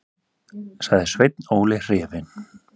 sagði Sveinn Óli hrifinn.